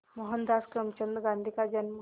मोहनदास करमचंद गांधी का जन्म